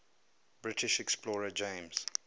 british explorer james